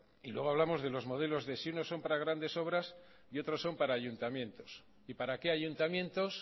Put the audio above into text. y luego hablamos de los modelos de si unos son para grandes obras y otros son para ayuntamientos y para qué ayuntamientos